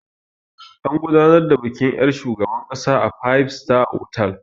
An gudanar da bikin yar' shugaban ƙasa a 5 star otal.